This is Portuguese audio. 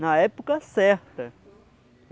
Na época certa.